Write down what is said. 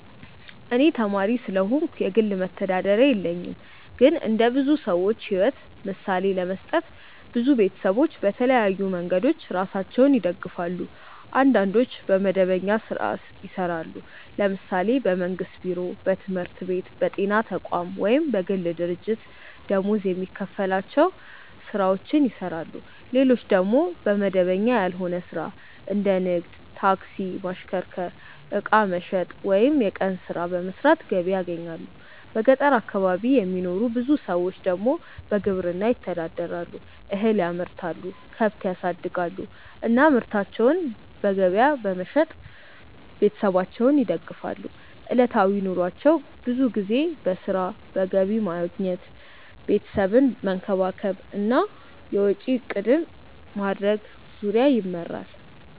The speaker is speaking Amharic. እኔ ተማሪ ስለሆንኩ የግል መተዳደሪያ የለኝም። ግን እንደ ብዙ ሰዎች ሕይወት ምሳሌ ለመስጠት፣ ብዙ ቤተሰቦች በተለያዩ መንገዶች ራሳቸውን ይደግፋሉ። አንዳንዶች በመደበኛ ሥራ ይሰራሉ፤ ለምሳሌ በመንግስት ቢሮ፣ በትምህርት ቤት፣ በጤና ተቋም ወይም በግል ድርጅት ደመወዝ የሚከፈላቸው ሥራዎችን ይሰራሉ። ሌሎች ደግሞ በመደበኛ ያልሆነ ሥራ እንደ ንግድ፣ ታክሲ ማሽከርከር፣ ዕቃ መሸጥ ወይም የቀን ሥራ በመስራት ገቢ ያገኛሉ። በገጠር አካባቢ የሚኖሩ ብዙ ሰዎች ደግሞ በግብርና ይተዳደራሉ፤ እህል ያመርታሉ፣ ከብት ያሳድጋሉ እና ምርታቸውን በገበያ በመሸጥ ቤተሰባቸውን ይደግፋሉ። ዕለታዊ ኑሯቸው ብዙ ጊዜ በሥራ፣ በገቢ ማግኘት፣ ቤተሰብን መንከባከብ እና የወጪ እቅድ ማድረግ ዙሪያ ይመራል።